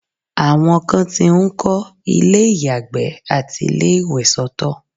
àwọn kan ti ń kọ́ ilé ìyàgbẹ́ àti ilé ìwẹ̀ soto